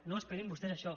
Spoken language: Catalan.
no esperin vostès això